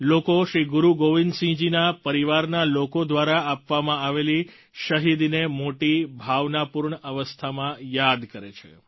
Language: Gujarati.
લોકો શ્રી ગુરુ ગોવિંદ સિંહ જી ના પરિવારના લોકો દ્વારા આપવામાં આવેલી શહીદીને મોટી ભાવનાપૂર્ણ અવસ્થામાં યાદ કરે છે